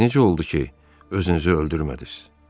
Bəs necə oldu ki, özünüzü öldürmədiniz?